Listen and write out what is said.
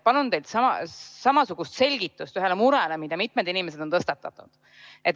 Palun teilt samasugust selgitust ühele murele, mida mitu inimest on tõstatanud.